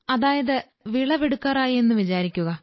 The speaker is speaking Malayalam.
അതായത് വിളവെടുക്കാറായി എന്നു വിചാരിക്കുക